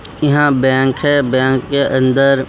यहां बैंक है बैंक के अंदर--